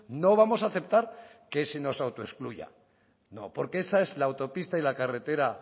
no vamos a aceptar que se nos autoexcluya no porque esa es la autopista y carretera